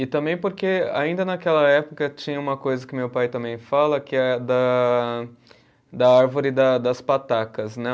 E também porque ainda naquela época tinha uma coisa que meu pai também fala, que é da, da árvore da das patacas, né?